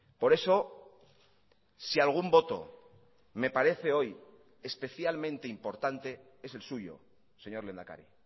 por eso si algún voto me parece hoy especialmente importante es el suyo señor lehendakari